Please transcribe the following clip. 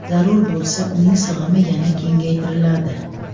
Zarur bo‘lsa uning sig‘imi yana kengaytiriladi.